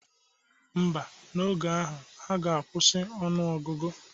Ḿbà, n'oge ahụ, ha ga-akwụsị ọnụ ọgụgụ.